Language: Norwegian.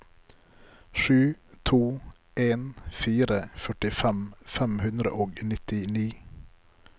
sju to en fire førtifem fem hundre og nittini